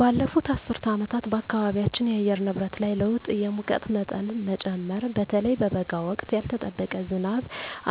ባለፉት አስርት ዓመታት በአካባቢያችን የአየር ንብረት ላይ ለውጥ የሙቀት መጠን መጨመር (በተለይ በበጋ ወቅት)፣ ያልተጠበቀ ዝናብ